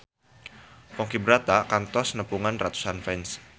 Ponky Brata kantos nepungan ratusan fans